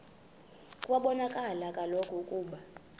kwabonakala kaloku ukuba